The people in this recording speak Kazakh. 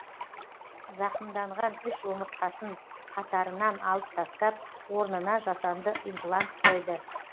зақымданған үш омыртқасын қатырынан алып тастап орнына жасанды имплант қойды